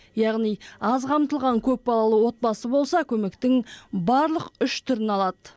яғни аз қамтылған көпбалалы отбасы болса көмектің барлық үш түрін алады